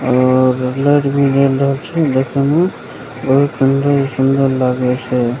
और लाइट भी जल रहल छै देखे मे बहुत सुन्दर-सुन्दर लागे छै।